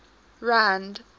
rand